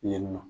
Yen nɔ